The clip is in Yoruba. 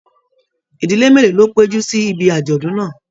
Ìdílé mélòó ló péjú sí ìbi ajọdun náà?